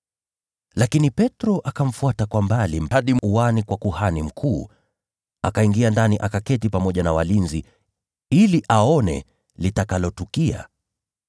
Lakini Petro akamfuata kwa mbali hadi uani kwa kuhani mkuu. Akaingia ndani, akaketi pamoja na walinzi ili aone litakalotukia.